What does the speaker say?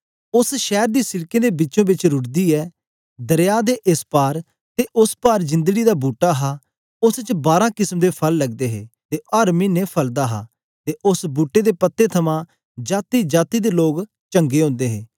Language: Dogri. उस्स शैर दी सिड़क दे बिचों बिच रुढ़दी हे दरया दे एस पार ते उस्स पार जिन्दगीं दा बूट्टा हा उस्स च बारां केसम दे फल लगदे हे ते ओ अर मिने फलदा हा ते उस्स बूट्टे दे पत्ते थमां जातीजाती दे लोग चंगे ओदे हे